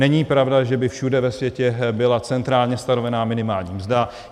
Není pravda, že by všude ve světě byla centrálně stanovená minimální mzda.